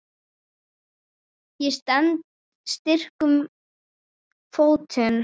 Ég stend styrkum fótum.